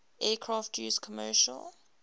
aircraft used commercial